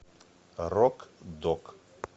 рок дог